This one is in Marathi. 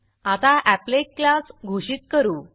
आता एपलेट अपलेट क्लास घोषित करू